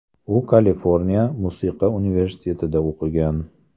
U Kaliforniya musiqa universitetida o‘qigan.